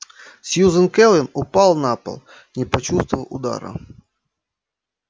сьюзен кэлвин упала на пол не почувствовав удара